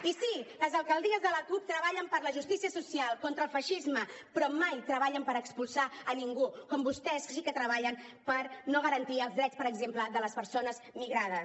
i sí les alcaldies de la cup treballen per la justícia social contra el feixisme però mai treballen per expulsar ningú com vostès sí que treballen per no garantir els drets per exemple de les persones migrades